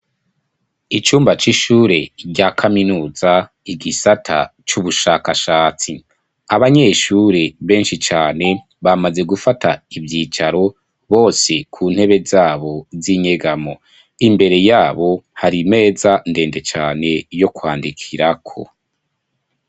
Icumba c'ishure rya kaminuza igisata c'ubushakashatsi, abanyeshure benshi cane bamaze gufata ivyicaro bose ku ntebe zabo z'inyegamo, imbere yabo hari meza ndende cane yo kwandikirako.